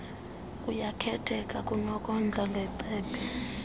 kuyakhetheka kunokondla ngecephe